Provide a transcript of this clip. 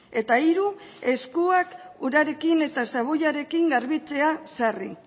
eta hiru eskuak urarekin eta xaboiarekin garbitzea sarri